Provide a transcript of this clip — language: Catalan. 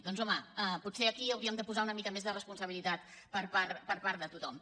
doncs home pot·ser aquí hauríem de posar una mica més de responsa·bilitat per part de tothom